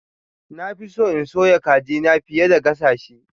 Na fi so in soya kajina fiye da gasa shi.